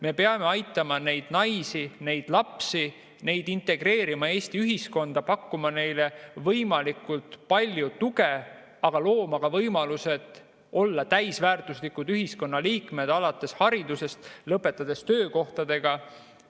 Me peame aitama neid naisi, neid lapsi, integreerima neid Eesti ühiskonda, pakkuma neile võimalikult palju tuge, aga looma ka võimalused olla täisväärtuslikud ühiskonnaliikmed, alates haridusest ja lõpetades töökohtadega.